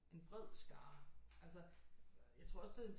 En bred skare altså jeg tror også det